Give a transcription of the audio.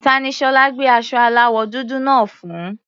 Ta ni Ṣọlá gbé aṣọ aláwọ̀ dúdú náà fún?